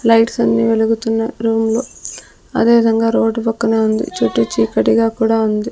Lights అన్నీ వెలుగుతున్నాయి room లో అదే విదంగా రోడ్డు పక్కనే ఉంది చుట్టు చీకాటి గా కుడా ఉంది.